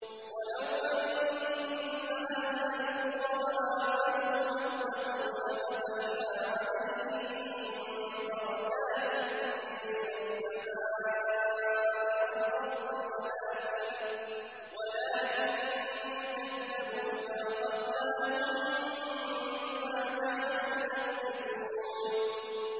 وَلَوْ أَنَّ أَهْلَ الْقُرَىٰ آمَنُوا وَاتَّقَوْا لَفَتَحْنَا عَلَيْهِم بَرَكَاتٍ مِّنَ السَّمَاءِ وَالْأَرْضِ وَلَٰكِن كَذَّبُوا فَأَخَذْنَاهُم بِمَا كَانُوا يَكْسِبُونَ